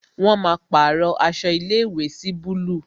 Wọn máa pàrọ aṣọ ilé ìwé sí búlúù